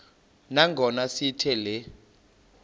nangona sithi le